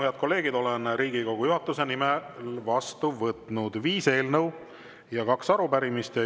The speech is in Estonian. Head kolleegid, olen Riigikogu juhatuse nimel vastu võtnud viis eelnõu ja kaks arupärimist.